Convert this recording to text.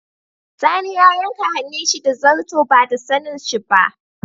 Sani ya yanka hannun shi da zarto ba da sanin shi ba.